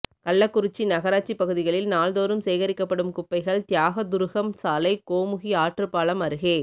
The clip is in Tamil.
கள்ளக்குறிச்சி நகராட்சி பகுதிகளில் நாள்தோறும் சேகரிக்கப்படும் குப்பைகள் தியாகதுருகம் சாலை கோமுகி ஆற்றுப்பாலம் அருகே